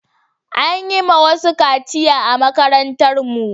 An yi ma wasu kaciya a makarantar mu